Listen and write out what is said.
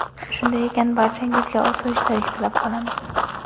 Shunday ekan, barchangizga osoyishtalik tilab qolamiz!